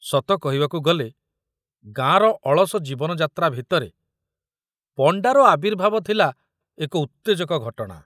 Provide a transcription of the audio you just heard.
ସତ କହିବାକୁ ଗଲେ ଗାଁର ଅଳସ ଜୀବନ ଯାତ୍ରା ଭିତରେ ପଣ୍ଡାର ଆବିର୍ଭାବ ଥିଲା ଏକ ଉତ୍ତେଜକ ଘଟଣା।